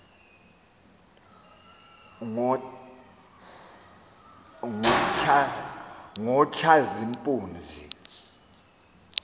ngotshazimpuzi